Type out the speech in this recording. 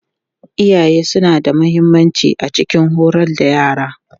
Iyaye suna da mahimmanci a cikin horar da yara.